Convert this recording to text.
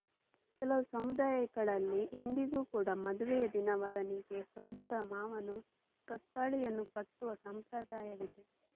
ಕೆಲವು ಸಮುದಾಯಗಳಲ್ಲಿ ಇಂದಿಗೂ ಕೂಡಾ ಮದುವೆಯ ದಿನ ವರನಿಗೆ ಸೋದರಮಾವನು ಕಾಸ್ತಾಳಿಯನ್ನು ಕಟ್ಟುವ ಸಂಪ್ರದಾಯವಿದೆ